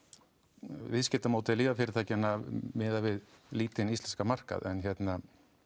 viðskiptamódel lyfjafyrirtækjanna miðað við lítill íslenskan markað en hérna